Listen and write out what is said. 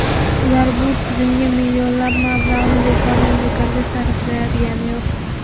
Ular bu tizimga millionlab mablag‘ni bekordan-bekorga sarflayotgani yo‘q.